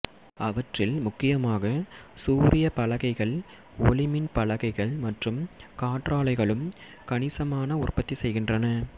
அவற்றில் முக்கியமாக சூரிய பலகைகள்ஒளிமின் பலகைகள் மற்றும் காற்றாலைகளும் கணிசமான உற்பத்தி செய்கின்றன